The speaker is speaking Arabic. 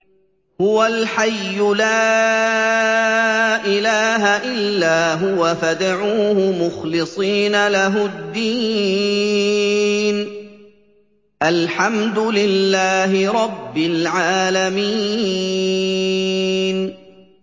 هُوَ الْحَيُّ لَا إِلَٰهَ إِلَّا هُوَ فَادْعُوهُ مُخْلِصِينَ لَهُ الدِّينَ ۗ الْحَمْدُ لِلَّهِ رَبِّ الْعَالَمِينَ